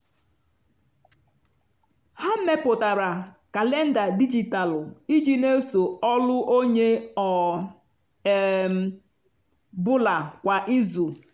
ha mepụtara kalenda dijitalụ iji n'eso ọlụ onye ọ um bụla kwa izu.